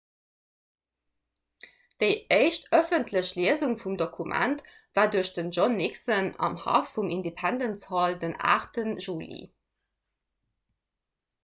déi éischt ëffentlech liesung vum dokument war duerch den john nixon am haff vum independence hall den 8 juli